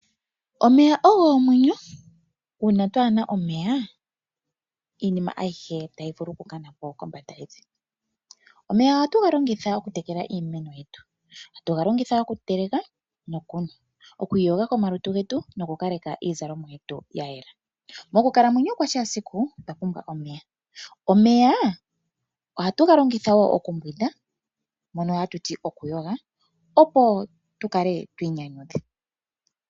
Omeya ogo omwenyo. Uuna kaatu na omeya, iinima ayihe otayi vulu okukana po kombanda yevi. Omeya ohatu ga longitha okutekela iimeno yetu. Ohatu ga longitha okuteleka, okunwa, okuiyoga komalutu getu nokukaleka iizalomwa yetu ya yela. Mokukalamwenyo kwetu kwa kehe esiku, otwa pumbwa omeya. Omeya ohatu ga longitha wo okumbwinda, hono hatu ti kutya okuyoga, opo tu kale twi inyanyudha.